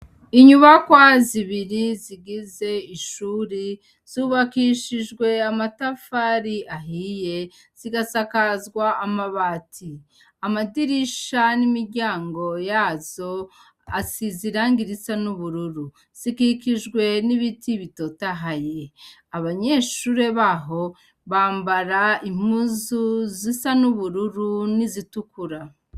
Inyubakwa zibiri zigize ishuri zubakishijwe amatafari ahiye zigasakazwa amabati. Amadirisha n'imiryango yazo asize irangi risa n'ubururu. Zikikijwe n'ibiti bitotahaye. Abanyeshure baho bambara impuzu zisa n'ubururu n'izitukura.